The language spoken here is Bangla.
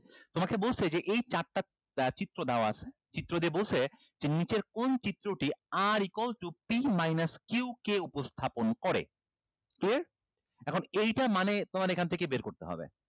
তোমাকে বলছে যে এই চারটা আহ চিত্র দেওয়া আছে চিত্র দিয়ে বলছে যে নিচের কোন চিত্রটি r equal to p minus q কে উপস্থাপন করে তো এখন এইটা মানে তোমার এইখান থেকেই বের করতে হবে